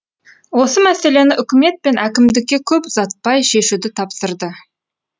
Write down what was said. осы мәселені үкімет пен әкімдікке көп ұзатпай шешуді тапсырды